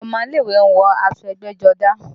Àwọn ọmọ ilé ìwé ń wọ aṣọ ẹgbẹ́jọdá